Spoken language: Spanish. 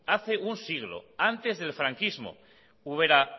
hace un siglo antes del franquismo ubera